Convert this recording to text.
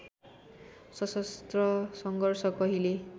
सशस्त्र सङ्घर्ष कहिले